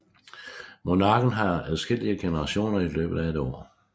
Monarken har adskillige generationer i løbet af et år